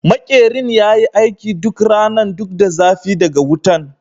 Makerin ya yi aiki duk ranan duk da zafi daga wutan.